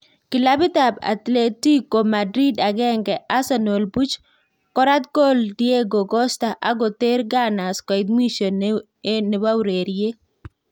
Kilabit ab Atletico Madrid Agenge, Asernal buch, Korat kol Diego Costa ak koter "gunners" koit mwisho ne ureriret